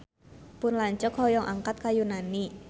Pun lanceuk hoyong angkat ka Yunani